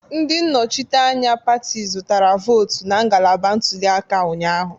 Ndị nnọchiteanya pati zụtara votu na ngalaba ntuli aka ụnyahụ